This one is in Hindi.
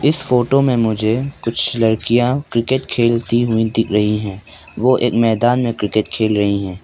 इस फोटो में मुझे कुछ लड़कियां क्रिकेट खेलती हुई दिख रही है वो एक मैदान में क्रिकेट खेल रही है।